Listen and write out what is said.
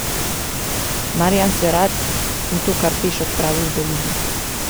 Marjan se rad, in to kar peš, odpravi v dolino.